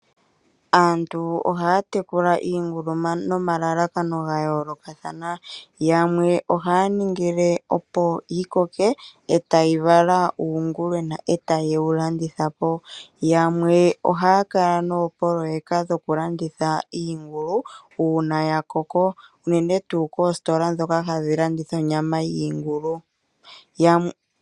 Aantu ohaa tekula iingulu nomalalakano ga yoolokathana. Yamwe ohaa ningile opo yi koke yi vale uungulwena e ta ye wu landithapo. Yamwe ohaa kala noopoloyeka dhokulanditha iingulu uuna ya koko unene tuu koositola ndhoka hadhi landitha onyama yiingulu.